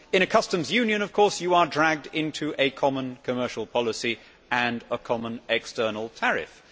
In a customs union, of course, you are dragged into a common commercial policy and a common external tariff.